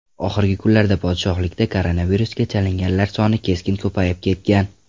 Oxirgi kunlarda podshohlikda koronavirusga chalinganlar soni keskin ko‘payib ketgan.